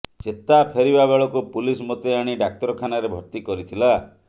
ଚେତା ଫେରିବା ବେଳକୁ ପୁଲିସ ମୋତେ ଆଣି ଡାକ୍ତରଖାନାରେ ଭର୍ତ୍ତି କରିଥିଲା